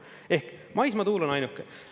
Ehk maismaatuul on ainuke.